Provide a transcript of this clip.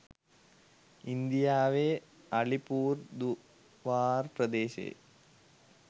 ඉන්දියාවේ අලිපුර්දුවාර් ප්‍රදේශයේ